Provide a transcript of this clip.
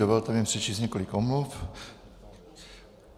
Dovolte mi přečíst několik omluv.